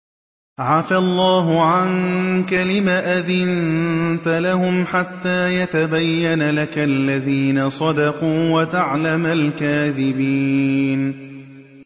عَفَا اللَّهُ عَنكَ لِمَ أَذِنتَ لَهُمْ حَتَّىٰ يَتَبَيَّنَ لَكَ الَّذِينَ صَدَقُوا وَتَعْلَمَ الْكَاذِبِينَ